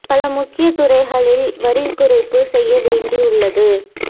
பல முக்கிய துறைகளில் வரி குறைப்பு செய்ய வேண்டி உள்ளது